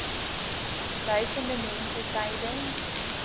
duisende mense tydens